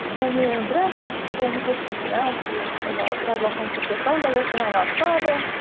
және біраз ол уакыт ұмытылып кетті ұмытылып иә біраз уақыт ұмытылып кетті ондай затпен айналыспадым